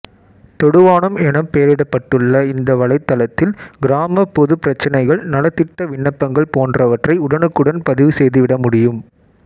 தொடுவானம் எனப் பெயரிடப்பட்டுள்ள இந்த வலைத்தளத்தில் கிராமப் பொதுப் பிரச்சனைகள் நலத்திட்ட விண்ணப்பங்கள் போன்றவற்றை உடனுக்குடன் பதிவு செய்துவிட முடியும்